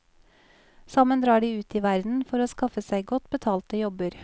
Sammen drar de ut i verden for å skaffe seg godt betalte jobber.